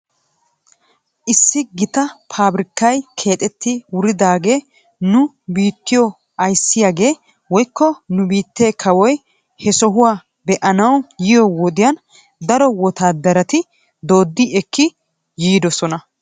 Issi gita fabriikay keexetti wuridaagaa nu biittiyoo ayssiyaagee woykko nu biittee kawoy he sohuwaa be'anaw yiyoo wodiyan daro wotaadarati dooddi ekki yiidosona.